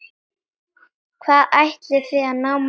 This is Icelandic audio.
Hvað ætliði að ná mörgum?